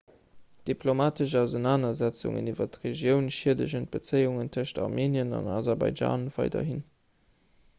diplomatesch ausenanersetzungen iwwer d'regioun schiedegen d'bezéiungen tëschent armenien an aserbaidschan weiderhin